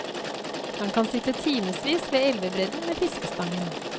Han kan sitte timevis ved elvebredden med fiskestangen.